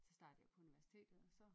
Så startede jeg på universitetet og så